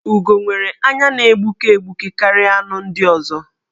Ugo nwere anya na-egbuke egbuke karịa anụ ndị ọzọ.